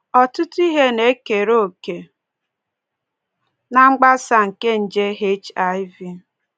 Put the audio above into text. Ọtụtụ ihe na-ekere òkè ná mgbasa nke nje HIV